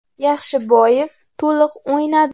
Yaxshiboyev to‘liq o‘ynadi.